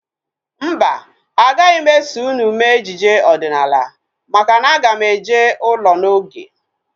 Mba, agaghị m eso unu mee ejije ọdịnala maka na aga m eje ụlọ n'oge